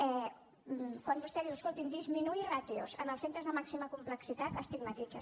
quan vostè diu escolti disminuir ràtios en els centres de màxima complexitat estigmatitza